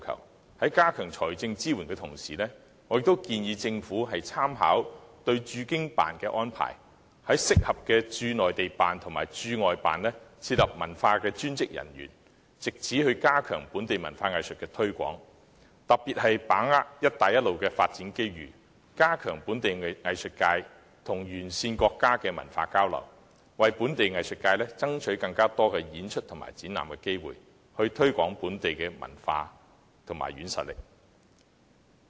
我建議政府在加強財政支援的同時，也參考駐京辦的安排，在合適的駐內地辦及駐外辦設立文化專員一職，藉此加強在內地及外地推廣本地文化藝術，特別是把握"一帶一路"的發展機遇，加強本地藝術界與沿線國家的文化交流，為本地藝術界爭取更多演出和展覽機會，藉此推廣本地文化和軟實力。